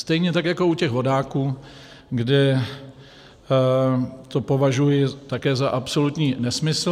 Stejně tak jako u těch vodáků, kde to považuji také za absolutní nesmysl.